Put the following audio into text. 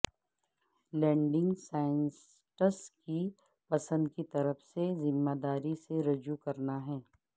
landing sites کی پسند کی طرف سے ذمہ داری سے رجوع کرنا ہے